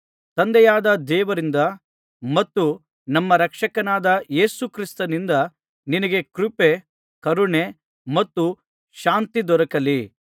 ತಂದೆಯಾದ ದೇವರಿಂದ ಮತ್ತು ನಮ್ಮ ರಕ್ಷಕನಾದ ಯೇಸು ಕ್ರಿಸ್ತನಿಂದ ನಿನಗೆ ಕೃಪೆ ಕರುಣೆ ಮತ್ತು ಶಾಂತಿ ದೊರಕಲಿ